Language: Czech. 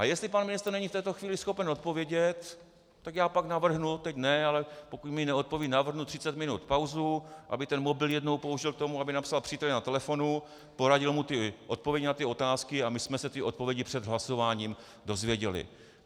A jestli pan ministr není v této chvíli schopen odpovědět, tak já pak navrhnu, teď ne, ale pokud mi neodpoví, navrhnu 30 minut pauzu, aby ten mobil jednou použil k tomu, aby napsal příteli na telefonu, poradil mu ty odpovědi na ty otázky a my jsme se ty odpovědi před hlasováním dozvěděli.